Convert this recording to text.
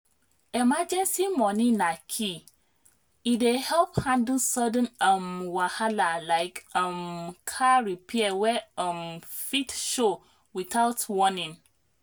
emergency money na key e dey help handle sudden um wahala like um car repair wey um fit show without warning.